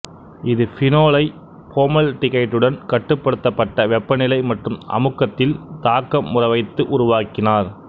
இது பீனோலை போமல்டிகைட்டுடன் கட்டுப்படுத்தப்பட்ட வெப்பநிலை மற்றும் அமுக்கத்தில் தாக்கமுற வைத்து உருவாக்கினார்